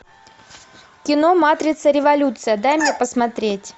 кино матрица революция дай мне посмотреть